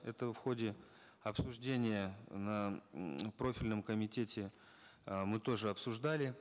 это в ходе обсуждения на м профильном комитете э мы тоже обсуждали